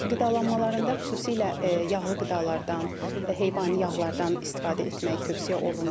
Qidalanmalarında xüsusilə yağlı qidalardan, heyvani yağlardan istifadə etmək tövsiyə olunmur.